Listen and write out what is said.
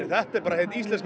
þetta er bara hið íslenska